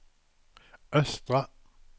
östra